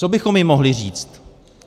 Co bychom jí mohli říct?